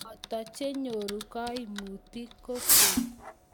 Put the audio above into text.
boto che nyoru kaimutik kwekeny